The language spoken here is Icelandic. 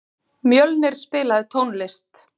Mjölnir, spilaðu tónlist.